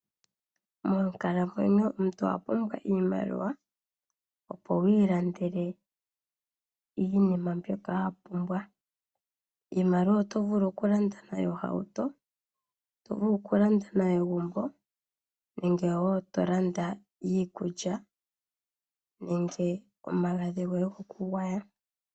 Moonkalamwenyo omuntu owa pumbwa iimaliwa, opo wi ilandele iinima mbyoka wa pumbwa. Iimaliwa oto vulu okulanda nayo ohauto, oto vulu okulanda nayo egumbo nenge wo to landa nayo iikulya nenge omagadhi goye gokugwaya.